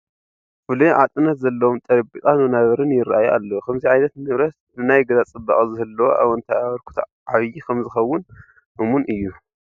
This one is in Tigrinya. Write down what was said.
ፍሉይ ዓጥነት ዘለዎም ጠረጴዛን ወናብርን ይርአዩ ኣለዉ፡፡ ከምዚ ዓይነት ንብረት ንናይ ገዛ ፅባቐ ዝህልዎ ኣወንታዊ ኣበርክቶ ዓብዪ ከምዝኸውን እሙን እዩ፡፡